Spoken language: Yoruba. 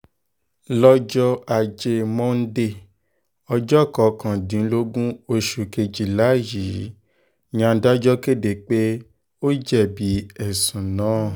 lọ́jọ́ ajé monde ọjọ́ kọkàndínlógún oṣù kejìlá yìí ni adájọ́ kéde pé ó jẹ̀bi ẹ̀sùn náà